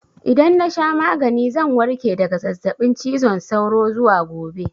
Idan na sha magani zan warke daga zazzaɓin cizon sauro zuwa gobe.